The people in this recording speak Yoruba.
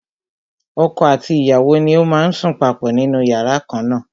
Ọkọ àti ìyàwó ni ó má ń sùn papọ̀ nínú yàrá kan na.